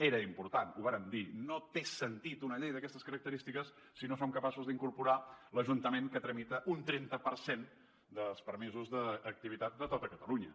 era important ho vàrem dir no té sentit una llei d’aquestes característiques si no som capaços d’incorporar hi l’ajuntament que tramita un trenta per cent dels permisos d’activitat de tot catalunya